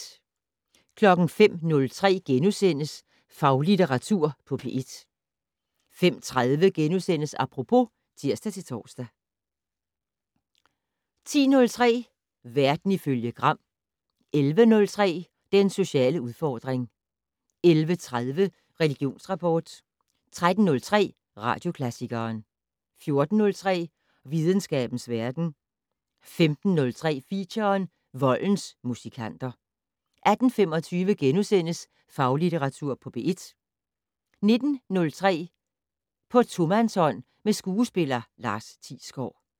05:03: Faglitteratur på P1 * 05:30: Apropos *(tir-tor) 10:03: Verden ifølge Gram 11:03: Den sociale udfordring 11:30: Religionsrapport 13:03: Radioklassikeren 14:03: Videnskabens verden 15:03: Feature: Voldens musikanter 18:25: Faglitteratur på P1 * 19:03: På tomandshånd med skuespiller Lars Thiesgaard *